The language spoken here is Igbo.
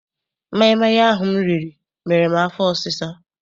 Maịmaị ahụ m riri mere m afọ ọsisa.